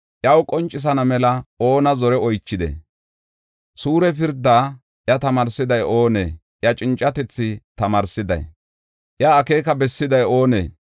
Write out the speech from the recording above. Iyaw qoncisana mela oona zore oychidee? Suure pirdaa iya tamaarsiday oonee? Iya cincatethi tamaarsiday, iya akeeka bessiday oonee?